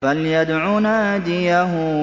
فَلْيَدْعُ نَادِيَهُ